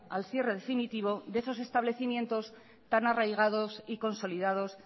al cierre definitivo de esos establecimientos tan arraigados y consolidados